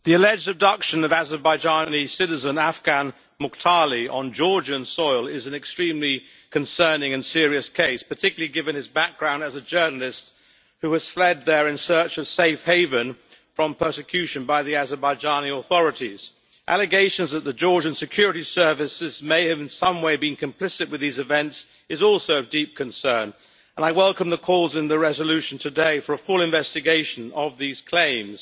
Madam President, the alleged abduction of Azerbaijani citizen Afgan Mukhtarli on Georgian soil is an extremely concerning and serious case, particularly given his background as a journalist who has fled there in search of a safe haven from persecution by the Azerbaijani authorities. Allegations that the Georgian security services may have in some way been complicit with these events is also of deep concern, and I welcome the calls in the resolution today for a full investigation of these claims.